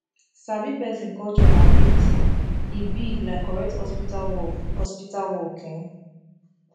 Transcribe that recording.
sabi person culture na big thing e big like correct hospital work hospital work um